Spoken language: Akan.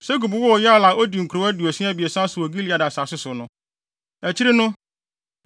Segub woo Yair a odii nkurow aduonu abiɛsa so wɔ Gilead asase so no.